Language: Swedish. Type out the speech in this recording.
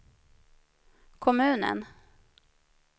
kommunen